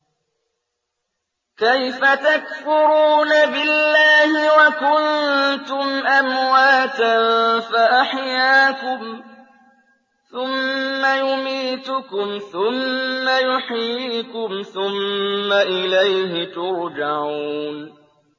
كَيْفَ تَكْفُرُونَ بِاللَّهِ وَكُنتُمْ أَمْوَاتًا فَأَحْيَاكُمْ ۖ ثُمَّ يُمِيتُكُمْ ثُمَّ يُحْيِيكُمْ ثُمَّ إِلَيْهِ تُرْجَعُونَ